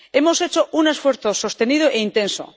Hemos hecho un esfuerzo sostenido e intenso.